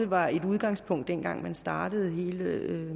var et udgangspunkt dengang man startede hele